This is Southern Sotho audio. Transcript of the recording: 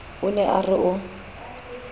o ne a re o